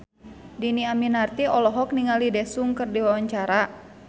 Dhini Aminarti olohok ningali Daesung keur diwawancara